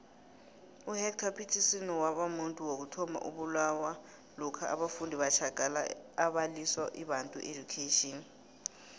uhector petrson wabamuntu wokuthoma owabulawa lokha abafundi batjagala abalwisa ibantu education